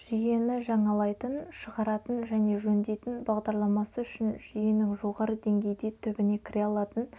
жүйені жаңалайтын шығаратын және жөндейтін бағдарламасы үшін жүйенің жоғары деңгейде түбіне кіре алатын